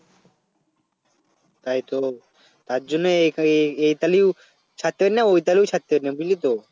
তাইতো তার জন্য এখা~ এখানেও ছাড়তে পারি না ঐ খানেও ছাড়তে পারি না বুঝলি তো